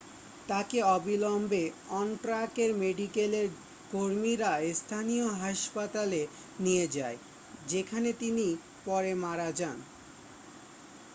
তাকে অবিলম্বে অন ট্র্যাকের মেডিকেলের কর্মীরা স্থানীয় হাসপাতালে নিয়ে যায় যেখানে তিনি পরে মারা যান